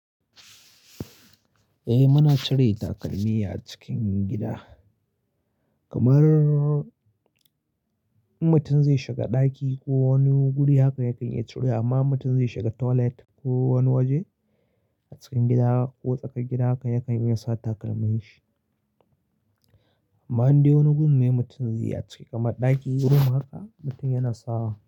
Eh, muna cire takalmi a cikin gida. Kamar mutum zai shiga ɗaki ko wani guri haka yakan iya cire, amma mutum zai shiga toilet ko wani waje a cikin gida ko tsakar gida haka yakan iya sa takalmin shi. Amma in dai wani gun ne mutum zai yi a ciki kamar ɗaki room haka mutum yana sawa.